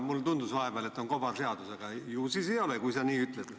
Mulle tundus vahepeal, et on kobarseadus, aga ju siis ei ole, kui sa nii ütled.